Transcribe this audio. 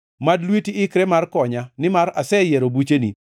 Mad lweti ikre mar konya, nimar aseyiero bucheni.